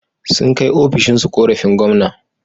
Sun kai ƙorafinsu ofishin gwamna.